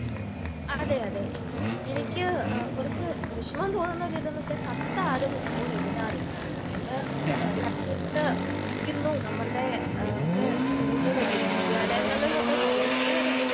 അതെ അതെ എനിക്ക് കുറച്ച് വിഷമം തോന്നുന്ന ഒരു ഇത് എന്ന് വച്ചാ കത്ത് ആരും ഇപ്പോ എഴുതാറില്ല.നമ്മള് കത്ത് ഇരിക്കുന്നു നമ്മളുടെ നമുക്ക് കൂടുതല് വിദ്യാലയങ്ങളില് തൊട്ട് കോളേജില് വരെ